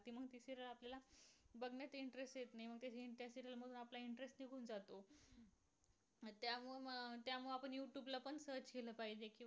search केल पाहिजे.